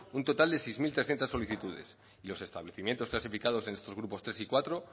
un total de seis mil trescientos solicitudes los establecimientos clasificados en estos grupos tres y cuatro